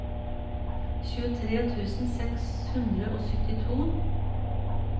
tjuetre tusen seks hundre og syttito